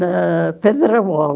Na Pedramol.